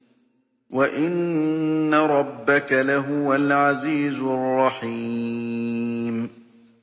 وَإِنَّ رَبَّكَ لَهُوَ الْعَزِيزُ الرَّحِيمُ